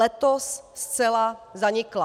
Letos zcela zanikla.